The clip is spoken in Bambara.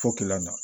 Fo na